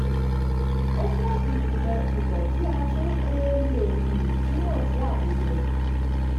ó jẹ́ ìpìlẹ̀ ìmò tí a tún um le um túmọ̀ sí àmúyẹ̀.